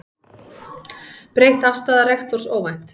Breytt afstaða rektors óvænt